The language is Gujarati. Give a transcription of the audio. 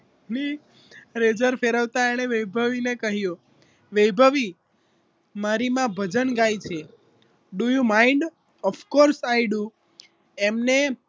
દાઢી ની લેઝર ફેરવતા એણે વૈભવીને કહ્યું વૈભવી મારી માં ભજન ગાય છે do you mind of course i do એમણે